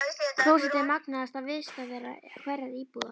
Klósettið er magnaðasta vistarvera hverrar íbúðar.